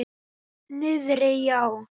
Niðri já.